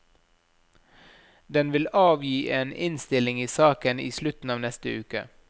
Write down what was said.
Den vil avgi en innstilling i saken i slutten av neste uke.